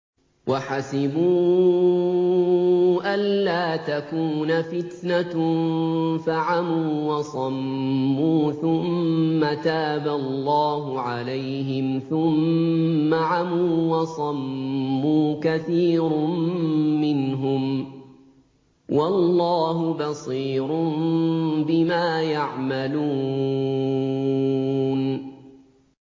وَحَسِبُوا أَلَّا تَكُونَ فِتْنَةٌ فَعَمُوا وَصَمُّوا ثُمَّ تَابَ اللَّهُ عَلَيْهِمْ ثُمَّ عَمُوا وَصَمُّوا كَثِيرٌ مِّنْهُمْ ۚ وَاللَّهُ بَصِيرٌ بِمَا يَعْمَلُونَ